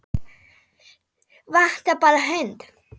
Vantar bara hund.